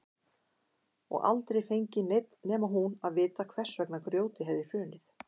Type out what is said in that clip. Og aldrei fengi neinn nema hún að vita hvers vegna grjótið hefði hrunið.